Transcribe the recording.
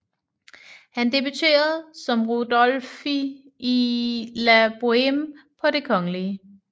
Han debuterede som Rodolphe i la Boheme på Det kgl